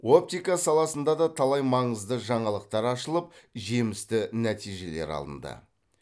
оптика саласында да талай маңызды жаңалықтар ашылып жемісті нәтижелер алынды